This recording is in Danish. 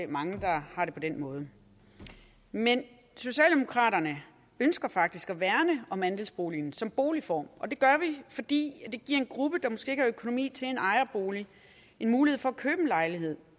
mange der har det på den måde men socialdemokraterne ønsker faktisk at værne om andelsboligen som boligform og det gør vi fordi det giver en gruppe der måske ikke har økonomi til en ejerbolig en mulighed for at købe en lejlighed